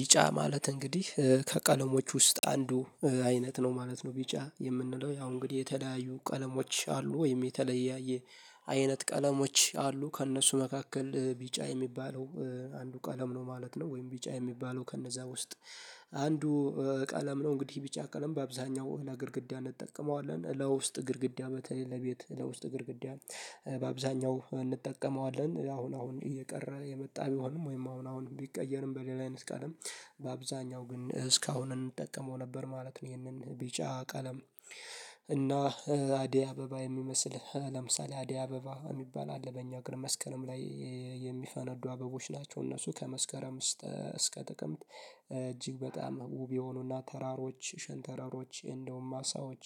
ቢጫ ማለት እንግዲህ ከቀለሞች ውስጥ አንዱ አይነት ነው ማለት ነው። ቢጫ የምንለው ያው እንግዲህ የተለያዩ ቀለሞች አሉ ወይም የተለያየ አይነት ቀለሞች አሉ ከእነሱ መካከል ቢጫ የሚባለው አንዱ ቀለም ነው ማለት ነው። ወይም ቢጫ የሚባለው ከነዛ ውስጥ አንዱ ቀለም ነው። እንግዲህ ቢጫ ቀለም በአብዛኛው ግድግዳ እንጠቀመዋለን ለውስጥ ግድግዳ በተለይ ለቤት ለውስጥ ግድግዳ በአብዛኛው እንጠቀመዋለን አሁን አሁን እየቀረ የመጣ ቢሆንም ወይም አሁን አሁን ቢቀየርም በሌላ አይነት ቀለም በአብዘሃኛው ግን እስካሁንን እንጠቀመው ነበር ማለት ነው። ይሄንን ቢጫ ቀለም እና አደይ አበባ የሚመስል ለምሳሌ አደይ አበባ የሚባል አለበኛ እግር መስቀልም ላይ የሚፈነዱ አበቦች ናቸው። እነሱ ከመስከረም ውስጥ እስከ ጥቅምት እጅግ በጣም ውብ የሆኑና ተራሮች ሽንተረሮች እንደውም ማሳዎች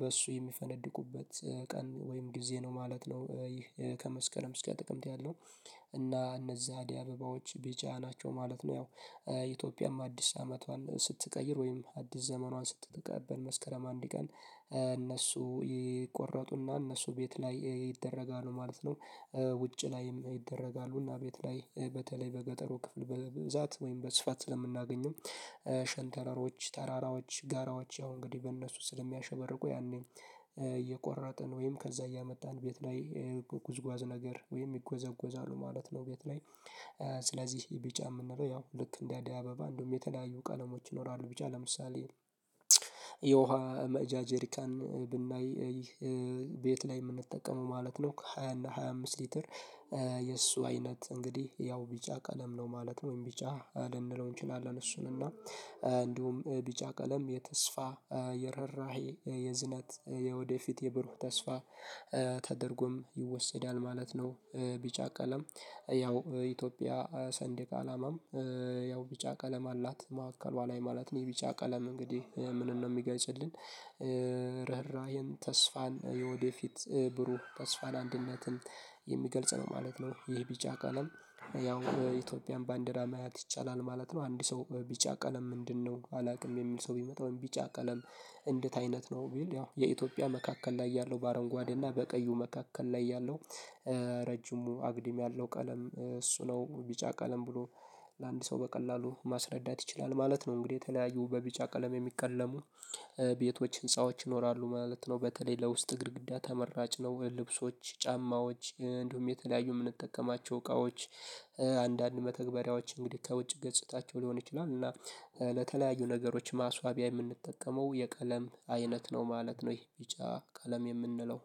በእሱ የሚፈነድቁበት ቀን ወይም ጊዜ ነው ማለት ነው። ይህ ከመስከረም እስከ ጥቅምት ያለው እና እነዚህ አደይ አበባዎች ቢጫ ናቸው ማለት ነው። ያው ኢትዮጵያም አዲስ አመቷን ስትቀይር ወይም አዲስ ዘመኗን ስትቀበል መስከረም አንድ ቀን እነሱ ይቆረጡና እነሱ ቤት ላይ ይደረጋሉ ማለት ነው። ውጭ ላይም ይደረጋሉና ቤት ላይ በተለይ በገጠሩ ክፍል በብዛት ወይም በስፋት ስለምናገኝም። ሸንተረሮች ተራራዎች ጋራዎች ያው እንግዲህ በእነሱ ስለሚያሸበርቁ ያኔም እየቆረጥን ወይም ከዛ እያመጣን ቤት ላይ ጉዝጉአዝ ነገር ወይም ይጎዘጎዛሉ ማለት ነው። ቤት ላይ ስለዚህ ቢጫ የምንለው ያው ልክ እንደ አዲ አበባ እንደውም የተለያዩ ቀለሞች ይኖራሉ ቢቻ ለምሳሌ። የውሃ መቅጃ ጄሪካን ብናይ ይህ ቤት ላይ የምንጠቀመው ማለት ነው። ሃያ እና ሃያ አምስት ሊትር የእሱ አይነት እንግዲህ ያው ቢጫ ቀለም ነው ማለት ወይም ቢጫ ልንለው እንችላለን። እሱን እና እንዲሁም ቢጫ ቀለም የተስፋ የርኅራሄ የዝነት የወደፊት የብሩህ ተስፋ ተደርጎም ይወሰዳል ማለት ነው። ቢጫ ቀለም ያው ኢትዮጵያ ሰንዴቅ አላማም ያው ቢጫ ቀለም አላት ማዕከል በኋላ ማለት ነው ቢጫ ቀለም እንግዲህ ምንም ነው የሚገልፅልንን ርህራሄን ተስፋን የወዴፊት ብሩህ ተስፋን አንድነትን የሚገልጽ ነው ማለት ነው። ይህ ቢጫ ቀለም ያው በኢትዮጵያም ባንደራ ማየት ይቻላል ማለት ነው። አንድ ሰው ቢጫ ቀለም ምንድነው አላውቅም። የሚል ሰው ቢመጣው ቢጫ ቀለም እንደት አይነት ነው። ያው የኢትዮጵያ መካከል ላይ ያለው በአረንጓዴ እና በቀዩ መካከል ላይ ያለው ረጅሙ አግድም ያለው ቀለም እሱ ነው ቢጫ ቀለም ብሎ ለአንድ ሰው በቀላሉ ማስረዳት ይችላል ማለት ነው። እንግዲህ የተለያዩ በቢጫ ቀለም የሚቀለሙ ቤቶች ህንፃዎች ይኖራሉ ማለት ነው። በተለይ ለውስጥ ግድግዳ ተመራጭ ነው። ልብሶች ጫማዎች እንዲሁም የተለያዩ የምንጠቀማቸው እቃዎች። አንዳንድ መተግበሪያዎች እንግዲህ ከውጭ ገጽታቸው ሊሆን ይችላል። እና ለተለያዩ ነገሮች ማስዋቢያ የምንጠቀመው የቀለም አይነት ነው ማለት ነው። ይሄ ቢጫ ቀለም የምንለው